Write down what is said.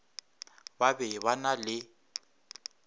ba be ba na le